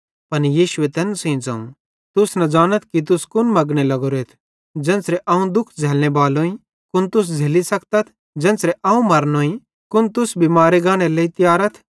पन यीशुए तैन सेइं ज़ोवं तुस न ज़ानथ कि तुस कुन मगने लग्गोरेथ ज़ेन्च़रे दुख अवं झ़लने बालोईं कुन तुस झ़ेल्ली सकतथ ज़ेन्च़रे अवं मारनोईं कुन तुस भी मारे गानेरे लेइ तियारथ